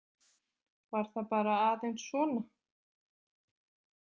Var það bara aðeins svona?